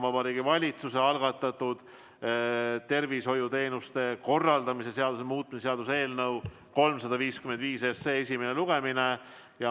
Vabariigi Valitsuse algatatud tervishoiuteenuste korraldamise seaduse muutmise seaduse eelnõu 355 esimene lugemine.